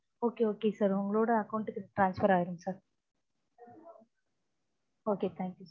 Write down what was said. okay okay sir உங்களுடைய account க்கு transfer ஆயிடும் sir okay thank you